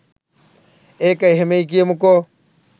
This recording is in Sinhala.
ඒක එහෙමයි කියමුකෝ